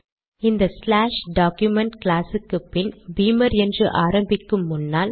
இந்த slash document class க்குப்பின் beamer என்று ஆரம்பிக்கும் முன்னால்